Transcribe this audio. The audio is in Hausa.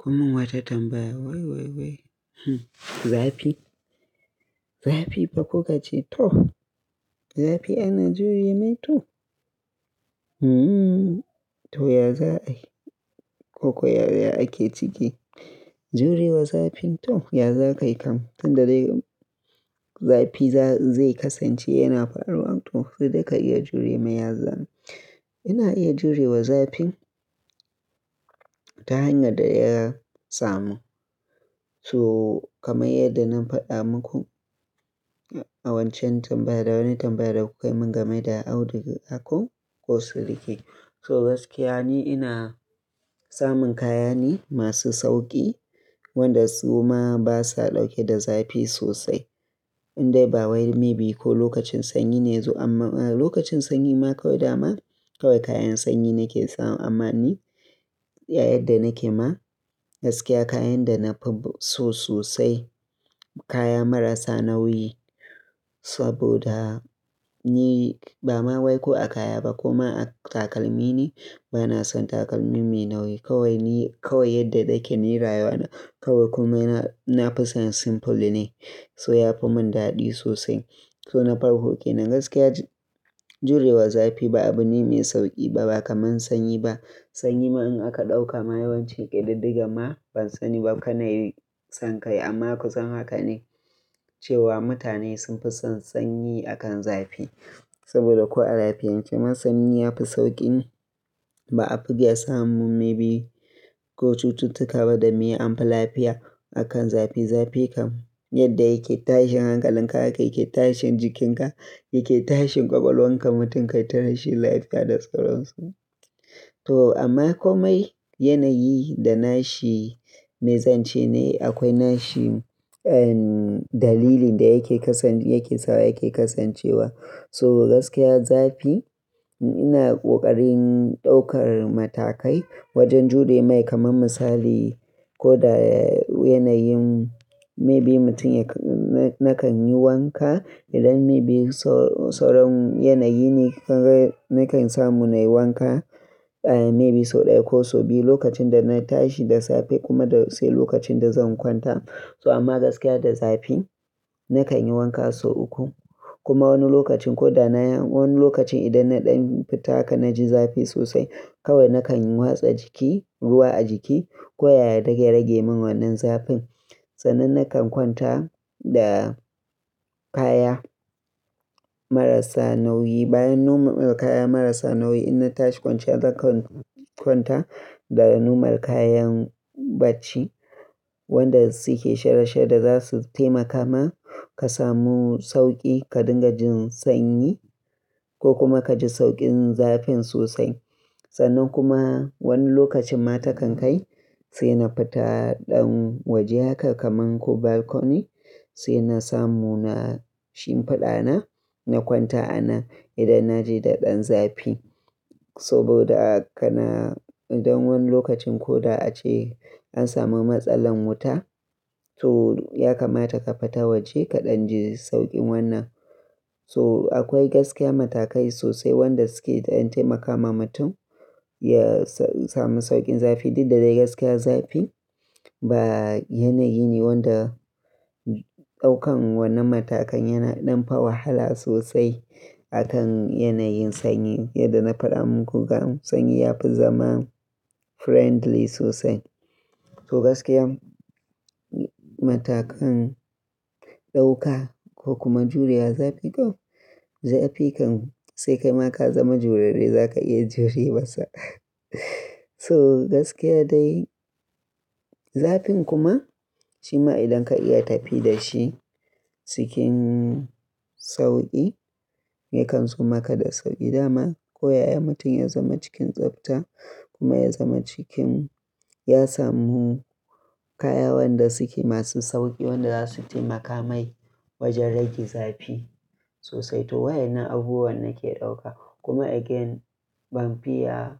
Kommin wata tambaya wai wai hmm, zafi, zafifa kukace toh zafi ana jure mai toh? Toh? Ya za ai, ko koyaya ake ciki jurewa zafin to ya za ka yi kam? Tunda dai zafi zai kasance yana faruwa to sai dai ka iya jure mai ya za'ai Ina iya jurewa zafin ta hanyar da ya samu. So kamar yadda na faɗa muku a wancan tambaya da wani tambaya da kukai mun game da auduga ko silike. So gaskiya niina samun kaya ne masu sauƙi, wanda suma basa ɗauke da zafi sosai. Indai ba wai maybe ko lokacin sanyi ne zai zo amma lokacin sanyi ma kawai dama kawai kayan sanyi nake samu amma ni a yanda nake ma gaskiya kayan da nafi so sosai kaya marasa nauyi. Saboda ni ba ma wai ko a kaya ba ko ma a takalmi ne bana son takalmi mai nauyi. Kawai ni kawai yadda nake ni rayuwana kawai komai nafi son simple ne. So ya fi mun daɗi sosai. So na farko kenan gaskiya jurewa zafi ba abune mai sauƙi ba, ba kamar sanyi ba. Sanyi ma in aka ɗauka ma yawancin ƙididdiga ma ban sani ba kar nayi son kai amma ku san haka ne cewa mutane sun fi son sanyi akan zafi. Saboda ko a lafiyance ma sanyi ya fi sauƙinba a fi iya samun maybe ko cututtuka ba da mai amfi lafiya akan zafi. Zafi kam yadda yake tashin hankalin ka haka yake tashin jikinka, yake tashin ƙwaƙwalwarka mutum kai ta rashin lafiya da sauran su To amma komai yanayi da nashi mai zance ne akwai nashi, ehm dalilin da yake kasan yake sawa yake kasancewa. So gaskiya zafi ina ƙoƙarin ɗaukar matakai wajen jure mai kamar misali ko da yanayin maybe mutum ya na kan yi wanka idan maybe sau sau ran yanayi ne kaga nakan samu na yi wanka ehm maybe sau ɗaya ko sau biyu lokacin da na tashi da safe kuma da sai lokacin da zan kwanta. So amma gaskiya da zafi na kan yi wanka sau uku. Kuma wani lokacin ko da na yi wani lokacin idan na ɗan fita haka na ji zafi sosai kawai na kan watsa jiki ruwa a jiki koyaya don ya rage mun wannan zafin. Sannan na kan kwanta da kaya marasa nauyi bayan noma kaya marasa nauyi idan na tashi kwanciya zan kwanta da normal kayan bacci wanda su ke shara-shara da zasu taimaka ma ka samu sauƙi ka dinga jin sanyi ko kuma ka ji sauƙin zafin sosai. Sannan kuma wani lokacin ma takan kai sai na fita ɗan waje haka kaman ko balcony sai na samu na shimfiɗa na, na kwanta anan idan na ji da ɗan zafi. Saboda kana idan wani lokacin ko da ace an samu matsalar wuta toh ya kamata ka fita waje ka ɗan ji sauƙin wannan. So akwai gaskiya matakai sosai wanda su ke ɗan taimakama mutum ya sa samu sauƙin zafi duk da dai gaskiya zafi ba yanayi ne wanda ɗaukan wannan matakan yana ɗan fa wahala sosai akan yanayin sanyi. Yadda na faɗa muku dam sanyi ya fi zama friendly sosai. So gaskiya matakan ɗauka ko kuma jurewa zafi toh zafi kam sai kai ma ka zama jurarre zaka iya jure masa. Toh, gaskiya dai zafin kuma shima idan ka iya tafi da shi cikin sauƙi yakan zo maka da sauƙi dama. Ko yayin da mutum ya zama cikin tsafta kuma ya zama cikin ya samu kaya wanda su ke masu sauƙi wanda za su taimaka mai wajen rage zafi sosai. To waƴennan abubuwan nake ɗauka kuma again ban fiya